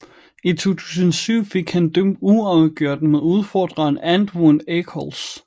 I 2007 fik han dømt uafgjort med udfordreren Antwun Echols